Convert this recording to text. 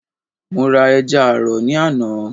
mo ra ẹja àrọ̀ ní àná.